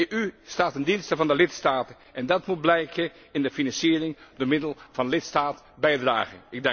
De EU staat ten dienste van de lidstaten en dat moet blijken in de financiering door middel van lidstaatbijdragen.